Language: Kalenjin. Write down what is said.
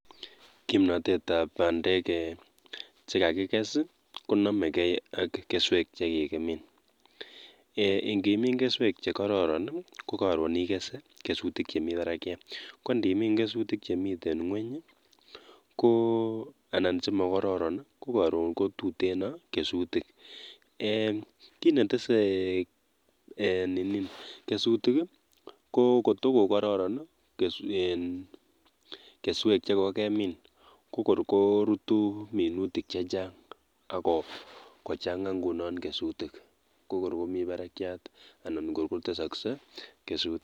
Kimnotetab bandek eeh chekakikes i konomekee ak keswek chekikimin, eeh ingimin keswek chekororon i kokoron ikese kesutik chemibarakiat, kondimin kesutik chemiten ngweny ko anan chemokororon i kokoron kotuteno kesutik, eeh kinetese eeh ninii kesutik ii ko kotokokororon iin kesutik chekokemin ko kor korutuu minutik chechang akochang'a ng'unon kesutik ko kokorkomii barakiat anan ko tesokse kesutik.